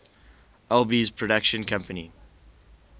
alby's production company